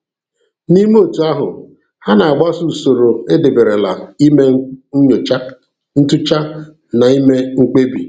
N'ime otú ahụ, ha na-agbaso usoro edeberela ime nnyocha, ntụcha na ime mkpebi.